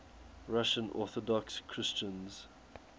russian orthodox christians